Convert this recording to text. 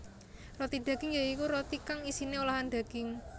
Roti daging ya iku roti kang isiné olahan daging